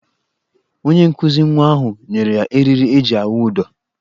Onye nkụzi nwa ahụ nyere ya eriri eji awụ ụdọ.